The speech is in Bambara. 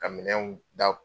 Ka minɛnw da